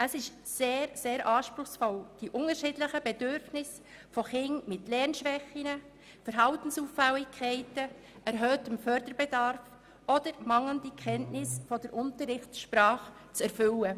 Es ist sehr anspruchsvoll, die unterschiedlichen Bedürfnisse von Kindern mit Lernschwächen, Verhaltensauffälligkeiten, erhöhtem Förderbedarf oder mangelnden Kenntnissen der Unterrichtssprache zu erfüllen.